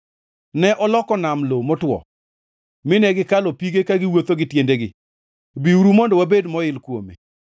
Ne oloko nam lo motwo, mine gikalo pige ka giwuotho gi tiendegi, Biuru mondo wabed moil kuome.